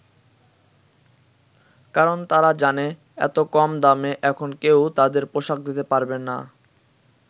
কারণ তারা জানে এত কম দামে এখন কেউই তাদের পোশাক দিতে পারবে না।